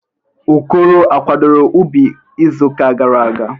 Okoro akwadoro ubi izu uka gara aga?